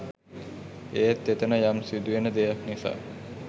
ඒත් එතන යම් සිදු වෙන දෙයක් නිසා